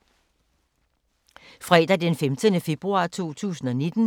Fredag d. 15. februar 2019